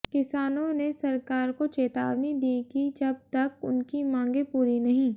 किसानों ने सरकार को चेतावनी दी कि जब तक उनकी मांगें पूरी नहीं